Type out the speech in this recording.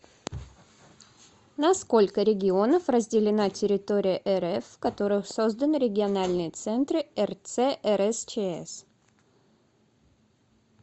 на сколько регионов разделена территория рф в которых созданы региональные центры рц рсчс